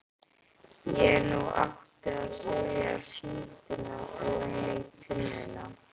En nú áttu að setja síldina ofan í tunnuna.